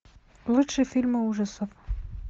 лучшие фильмы ужасов